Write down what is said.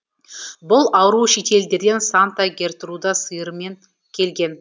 бұл ауру шетелдерден санта гертруда сыйырымен келген